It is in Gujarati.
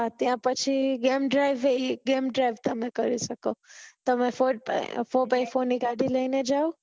ત્યાં પછી જેમ દ્રવી જેમ દ્રવી તમે કરી શકો તમે સો બાય સો ની ગાડી ને જાવ